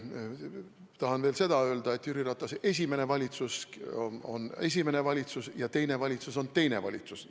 Tahan veel seda öelda, et Jüri Ratase esimene valitsus on esimene valitsus ja teine valitsus on teine valitsus.